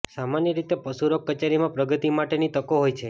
સામાન્ય રીતે પશુરોગ કચેરીમાં પ્રગતિ માટેની તકો હોય છે